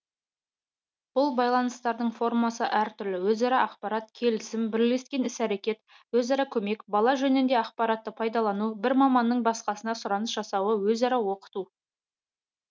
бұл байланыстардың формасы әртүрлі өзара ақпарат келісім бірлескен іс әрекет өзара көмек бала жөнінде ақпаратты пайдалану бір маманның басқасына сұраныс жасауы өзара оқыту